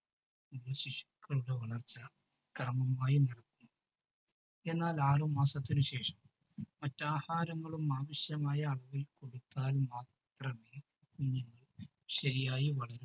എന്നാൽ ആറു മാസത്തിനു ശേഷം മറ്റാഹാരങ്ങളും മറ്റാവശ്യമായതും കൊടുത്താൽ മാത്രമേ കുഞ്ഞു ശരിയായി വളരൂ.